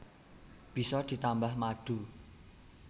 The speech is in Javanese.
Bisa ditambah madu